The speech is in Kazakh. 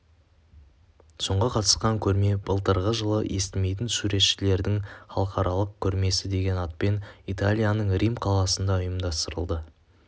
соңғы қатысқан көрме былтырғы жылы естімейтін суретшілердің халықаралық көрмесі деген атпен италияның рим қаласында ұйымдастырылды